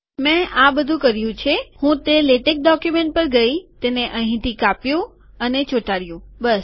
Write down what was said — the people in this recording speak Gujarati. મેં આ બધું કર્યું છે કે હું તે લેટેક ડોક્યુમેન્ટ પર ગયો તેને અહીંથી કાપ્યું અને ચોંટાડ્યું બસ